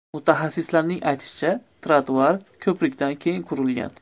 Mutaxassislarning aytishicha, ‘trotuar’ ko‘prikdan keyin qurilgan.